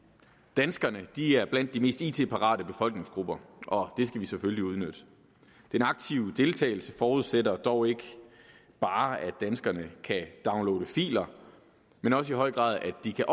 danskerne er blandt de mest it parate befolkningsgrupper og det skal vi selvfølgelig udnytte den aktive deltagelse forudsætter dog ikke bare at danskerne kan downloade filer men også i høj grad at de kan